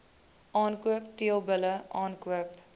aankoop teelbulle aankoop